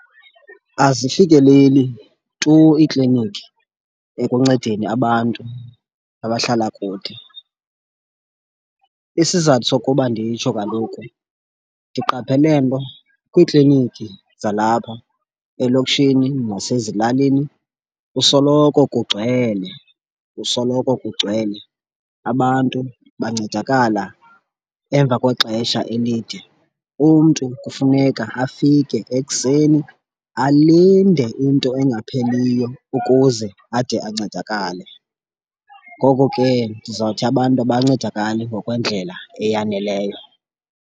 Azifikeleli tu iikliniki ekuncedeni abantu abahlala kude. Isizathu sokuba nditsho kaloku ndiqaphele nto kwiikliniki zalapha elokishini nasezilalini kusoloko kugcwele, kusoloko kugcwele. Abantu bancedakala emva kwexesha elide. Umntu kufuneka afike ekuseni alinde into engapheliyo ukuze ade ancedakale. Ngoko ke ndizawuthi abantu abancedakali ngokwendlela eyaneleyo.